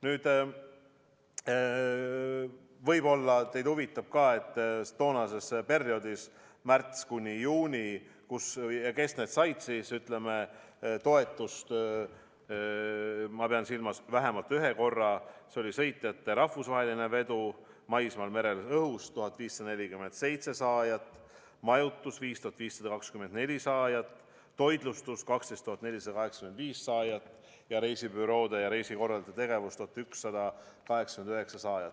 Nüüd, võib-olla teid huvitab ka, kes toonasel perioodil märtsist juunini said toetust vähemalt ühe korra: sõitjate rahvusvaheline vedu maismaal, merel, õhus – 1547 saajat, majutus – 5524 saajat, toitlustus – 12 485 saajat ja reisibüroode ning reisikorraldajate tegevus – 1189 saajat.